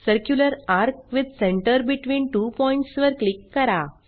circular ARC with centre between two points वर click करा